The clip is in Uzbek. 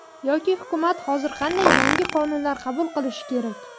Yoki hukumat hozir qanday yangi qonunlar qabul qilishi kerak?